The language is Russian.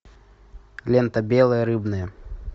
лента белая рыбная